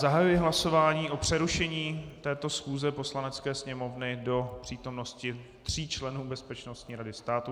Zahajuji hlasování o přerušení této schůze Poslanecké sněmovny do přítomnosti tří členů Bezpečnostní rady státu.